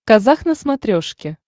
казах на смотрешке